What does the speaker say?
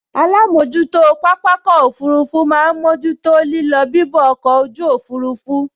Alámojútó pápákọ̀ òfurufú máa n mójú tó lílọ bibọ̀ ọkọ̀ ojú òfurufú